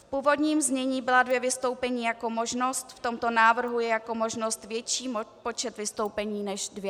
V původním znění byla dvě vystoupení jako možnost, v tomto návrhu je jako možnost větší počet vystoupení než dvě.